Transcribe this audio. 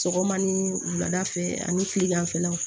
Sɔgɔma ni wulada fɛ ani kileganfɛlaw